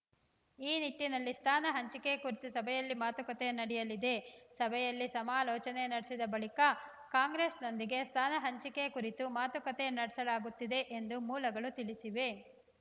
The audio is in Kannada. ಈ ನಿಟ್ಟಿನಲ್ಲಿ ಸ್ಥಾನ ಹಂಚಿಕೆ ಕುರಿತು ಸಭೆಯಲ್ಲಿ ಮಾತುಕತೆ ನಡೆಯಲಿದೆ ಸಭೆಯಲ್ಲಿ ಸಮಾಲೋಚನೆ ನಡೆಸಿದ ಬಳಿಕ ಕಾಂಗ್ರೆಸ್‌ನೊಂದಿಗೆ ಸ್ಥಾನ ಹಂಚಿಕೆ ಕುರಿತು ಮಾತುಕತೆ ನಡೆಸಲಾಗುತ್ತದೆ ಎಂದು ಮೂಲಗಳು ತಿಳಿಸಿವೆ